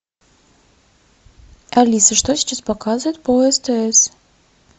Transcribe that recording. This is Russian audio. алиса что сейчас показывают по стс